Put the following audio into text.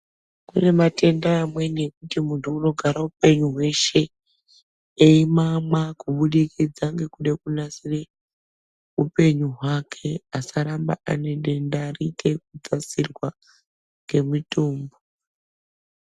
Kune matenda amweni ekuti muntu anogare upenyu hweshe emamwa kubudikidza nekude kunasire upenyu hwake asaramba ane denda rite rekudzasirwa ngemutombo.